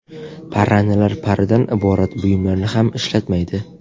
Parrandalar paridan iborat buyumlarni ham ishlatmaydi.